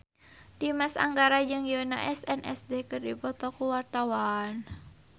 Dimas Anggara jeung Yoona SNSD keur dipoto ku wartawan